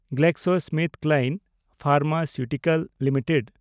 GlaxoSmithKline pharmaceutical limited